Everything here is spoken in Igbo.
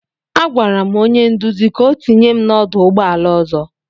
Agwara m onye nduzi ka ọ tụnye m n'ọdụ ụgbọ ala ọzọ.